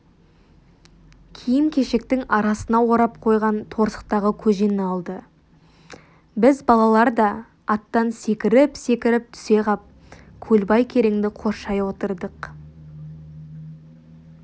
киім-кешектің арасына орап қойған торсықтағы көжені алды біз балалар да аттан секіріп-секіріп түсе қап көлбай кереңді қоршай отырдық